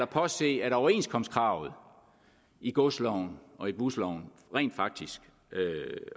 påse at overenskomstkravet i godsloven og i busloven rent faktisk